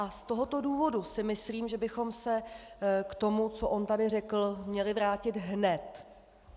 A z tohoto důvodu si myslím, že bychom se k tomu, co on tady řekl, měli vrátit hned!